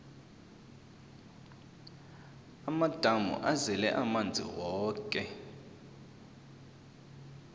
amadamu azele amanzi woke